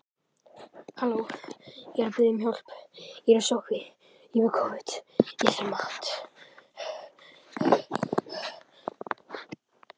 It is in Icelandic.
Hann féll flatur á steingólfið með útrétta arma og rím